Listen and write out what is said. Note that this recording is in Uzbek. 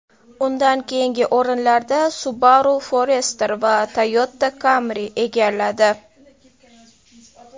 Undan keyingi o‘rinlarni Subaru Forester va Toyota Camry egalladi.